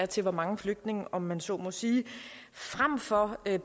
til hvor mange flygtninge om man så må sige fremfor at